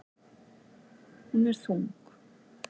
Hún er þung.